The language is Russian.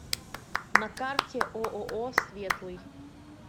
на карте ооо светлый